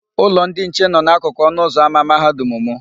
Ụlọ ndị nche nọ n'akụkụ ọnụụzọ ámá Mahadum mụ.